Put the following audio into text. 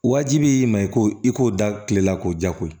Wajibi i ma i ko i k'o da kilela k'o ja koyi